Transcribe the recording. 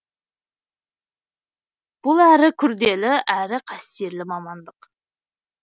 бұл әрі күрделі әрі қастерлі мамандық